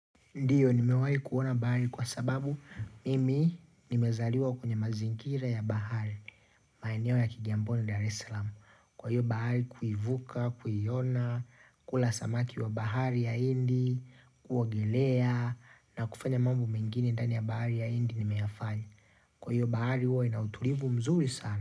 Ndio nimewahi kuona bahari kwa sababu mimi nimezaliwa kwenye mazingira ya bahari, maeneo ya kijamboni Dar es Salaamu, kwa hiyo bahari kuivuka, kuiona, kula samaki wa bahari ya Hindi, kuogelea, na kufanya mambo mengine ndani ya bahari ya Hindi nimeyafanya. Kwa hiyo bahari huwa inautulivu mzuri sana.